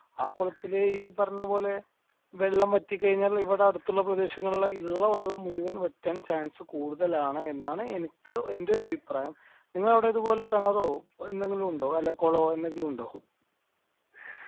ആ കോളത്തില് ഈ പറഞ്ഞപോലെ വെള്ളം വറ്റി കൈഞ്ഞാൽ ഇവിടെ അടുത്തുള്ള പ്രേദേശങ്ങളിലെ ഇല്ല വെള്ളം മുഴുവൻ വറ്റാൻ chance കൂടുതലാണ് എന്നാണ് എന്റെ ഒരു അഭിപ്രായം നിങ്ങടെ അവിടെ ഇത് പോലെ കിണറോ എന്തെങ്കിലും ഉണ്ടോ അല്ലെ കോളവോ എന്തെങ്കിലും ഉണ്ടോ